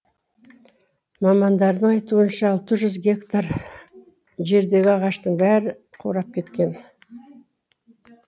мамандардың айтуынша алты жүз гектар жердегі ағаштың бәрі қурап біткен